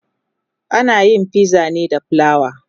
anayin fiza ne da flawa